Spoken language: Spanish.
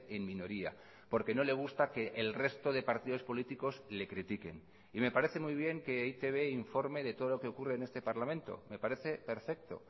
en minoría porque no le gusta que el resto de partidos políticos le critiquen y me parece muy bien que e i te be informe de todo lo que ocurre en este parlamento me parece perfecto